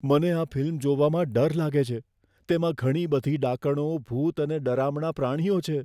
મને આ ફિલ્મ જોવામાં ડર લાગે છે. તેમાં ઘણી બધી ડાકણો, ભૂત અને ડરામણા પ્રાણીઓ છે.